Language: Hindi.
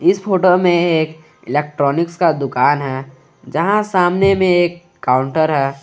इस फोटो में एक इलेक्ट्रॉनिक्स का दुकान है जहां सामने में एक काउंटर है।